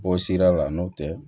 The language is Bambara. Bɔ sira la n'o tɛ